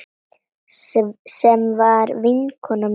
Sem var vinkona mín.